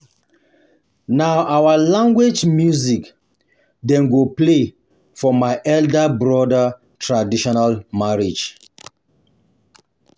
Na our language music dem go play for my elder brother traditional marriage